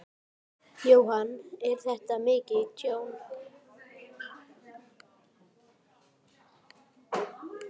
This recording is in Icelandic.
Jóhann: Er þetta mikið tjón?